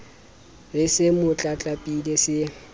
re se mo tlatlapile se